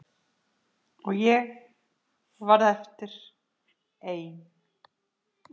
Og ég varð eftir ein.